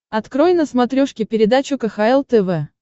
открой на смотрешке передачу кхл тв